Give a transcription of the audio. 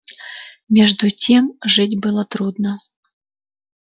между тем жить было трудно